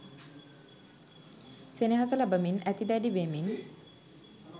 සෙනෙහස ලබමින් ඇති දැඩි වෙමින්